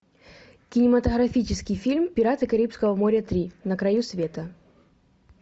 кинематографический фильм пираты карибского моря три на краю света